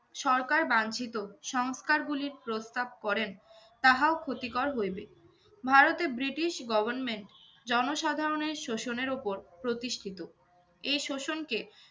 সরকার বাঞ্চিত সংস্কারগুলির প্রস্তাব করেন তাহাও ক্ষতিকর হইবে। ভারতে ব্রিটিশ government জনসাধারণের শোষণের ওপর প্রতিষ্ঠিত। এই শোষণকে